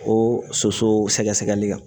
O soso sɛgɛsɛgɛli kan